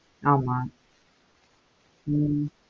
ஆமா ஹம்